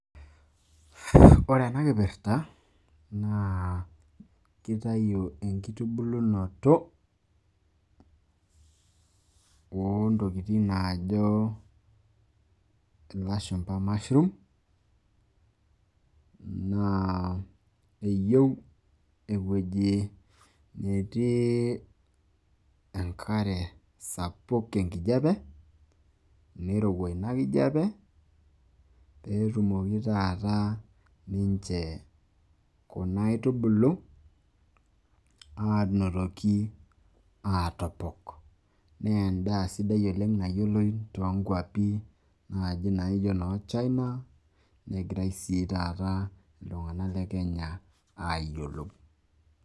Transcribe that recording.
Ore ena kipirta naa kitayu enkitubulunoto oo ntokitin naajo ilashumpa mushrooms. Naa eyieu ewueji netii enkare sapuk enkijape, nirowua ina kijape pee etumoki taata ninche kuna aitubulu aanotoki aataopok. Naa en`daa sidai oleng nayioloi too nkuapi naaji naijo inoo China negira sii taata iltung`ank le Kenya aayiolou.